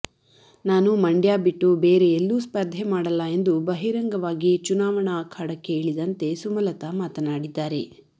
ನಾನು ಮಂಡ್ಯ ಬಿಟ್ಟು ಬೇರೆ ಎಲ್ಲೂ ಸ್ಪರ್ಧೆ ಮಾಡಲ್ಲ ಎಂದು ಬಹಿರಂಗವಾಗಿ ಚುನಾವಣಾ ಅಖಾಡಕ್ಕೆ ಇಳಿದಂತೆ ಸುಮಲತಾ ಮಾತನಾಡಿದ್ದಾರೆ